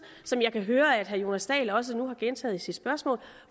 som jeg kan høre at herre jonas dahl nu også har gentaget i sit spørgsmål